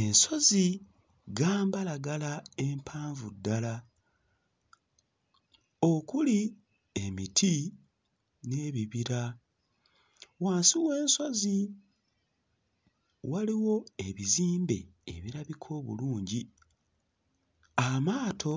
Ensozi gambalagala empanvu ddala okuli emiti n'ebibira. Wansi w'ensozi waliwo ebizimbe ebirabika obulungi. Amaato